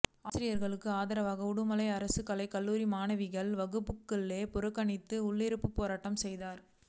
ஆசிரியர்களுக்கு ஆதரவாக உடுமலை அரசு கலைக் கல்லூரி மாணவிகள் வகுப்புகளை புறக்கனித்து உள்ளிருப்பு போராட்டம் செய்தனர்